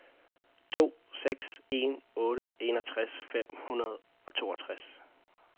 to seks en otte enogtres fem hundrede og toogtres